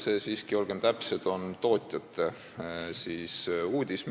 See siiski, olgem täpsed, on tootjate tehtud uudis.